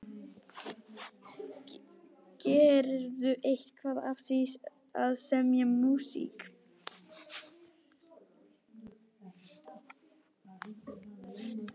Gerirðu eitthvað af því að semja músík?